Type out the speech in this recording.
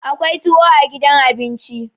akwai tuwo a gidan abinci